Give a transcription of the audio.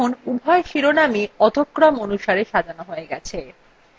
দেখুন উভয় শিরোনামই অধ: ক্রম অনুসারে সাজানো হয়ে গেছে